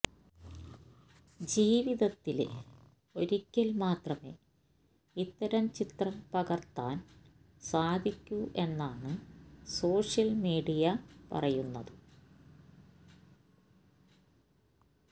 ജീവിതത്തില് ഒരിക്കല് മാത്രമേ ഇത്തരം ചിത്രം പകര്ത്താന് സാധിക്കൂ എന്നാണ് സോഷ്യല് മീഡിയ പറയുന്നത്